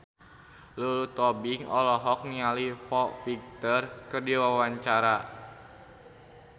Lulu Tobing olohok ningali Foo Fighter keur diwawancara